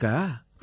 ஆமாங்கய்யா